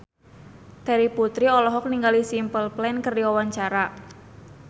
Terry Putri olohok ningali Simple Plan keur diwawancara